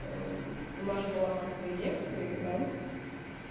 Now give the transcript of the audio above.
у нас же была как бы лекция да